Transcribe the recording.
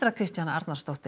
Kristjana Arnarsdóttir